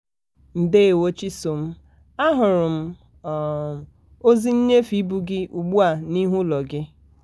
ndewo chisom a hụrụ m ozi um nnyefe ịbụ gị ugbua n'ihu ụlọ gị.